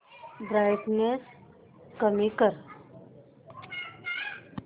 brightness कमी कर